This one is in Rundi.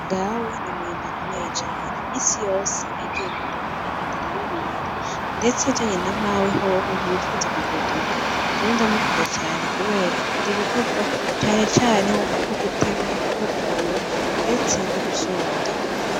Dawe ni umurimwi akomeye cane misi yose agiye kurima agenda araririmba, ndetse ajanye namawe hoho ntibipfuza kugodoka jewe ndamukunda cane, kubera akunda ibikorwa canecariho nko gutema gututura, ndetse no gusobanya.